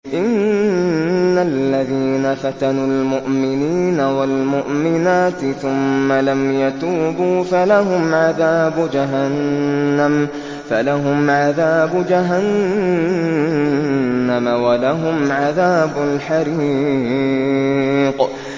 إِنَّ الَّذِينَ فَتَنُوا الْمُؤْمِنِينَ وَالْمُؤْمِنَاتِ ثُمَّ لَمْ يَتُوبُوا فَلَهُمْ عَذَابُ جَهَنَّمَ وَلَهُمْ عَذَابُ الْحَرِيقِ